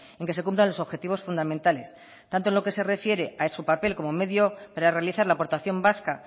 en que se cumplan los objetivos fundamentales tanto en lo que se refiere a su papel como medio para realizar la aportación vasca